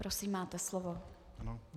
Prosím, máte slovo.